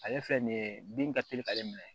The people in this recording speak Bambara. Ale fɛn nin ye bin ka teli k'ale minɛ